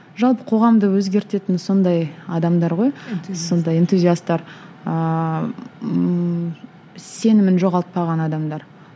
жалпы қоғамды өзгертетін сондай адамдар ғой сондай энтузиастар ыыы ммм сенімін жоғалтпаған адамдар